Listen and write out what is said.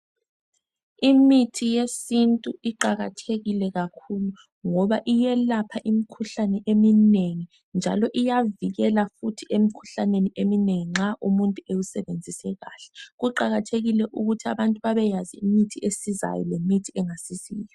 Imithi yesintu iqakathekile kakhulu ngoba iyelapha imkhuhlane emnengi njalo iyavikela futhi emkhuhlaneni eminengi nxa umuntu ewusebenzise kahle. Kuqakathekile ukuthi abantu babeyazi esizayo lengasiziyo.